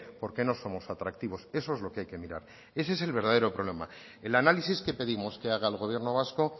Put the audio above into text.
porque no somos atractivos eso es lo que hay que mirar ese es el verdadero problema el análisis que pedimos que haga el gobierno vasco